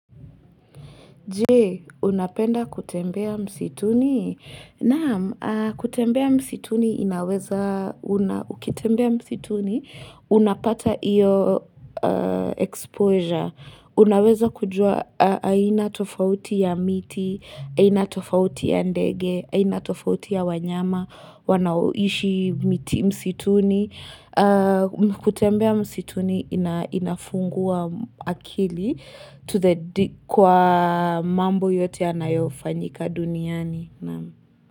Jee, unapenda kutembea msituni? Naam, kutembea msituni inaweza, ukitembea msituni unapata iyo exposure. Unaweza kujua, aina tofauti ya miti, aina tofauti ya ndege, aina tofauti ya wanyama wanaoishi miti msituni. Kutembea msituni inafungua akili kwa mambo yote yanayofanyika duniani.